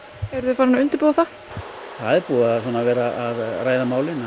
eruð þið farin að undirbúa það það er búið að vera að ræða málin það